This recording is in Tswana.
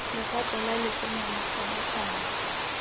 legato la letseno la kgabaganyo